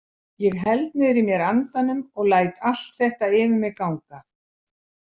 Ég held niðri í mér andanum og læt allt þetta yfir mig ganga.